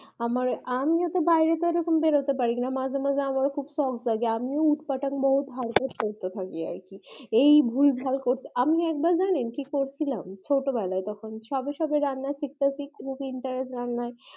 আমার আমি ও তো বইরে সে রকম বেরোতে পারি না মাঝে মাঝে আমার ও খুব শক জাগে আমিও উট পাঠাং হারকার করতে থাকি আর কি এই ভুল ভাল করতে থাকি আমি একবার জানেন একবার করছিলাম ছোট বেলায় তখন সবে সবে রান্না শিকতাছে খুব intrast রান্নায় আমার